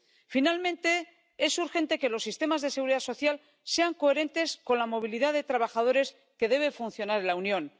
Finalmente, es urgente que los sistemas de seguridad social sean coherentes con la movilidad de trabajadores que debe funcionar en la Unión.